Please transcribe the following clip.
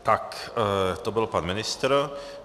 Tak to byl pan ministr.